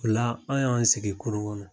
Ola an y'an sigi kurun kɔnɔ.